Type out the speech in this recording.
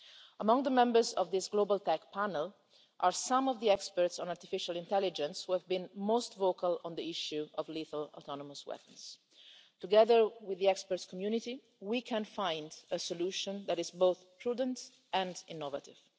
Among the members of this global tech panel are some of the experts on artificial intelligence who have been most vocal on the issue of lethal autonomous weapons. Together with the experts' community, we can find a solution that is both prudent and innovative.